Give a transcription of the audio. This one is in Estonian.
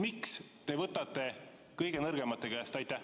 Miks te võtate kõige nõrgemate käest?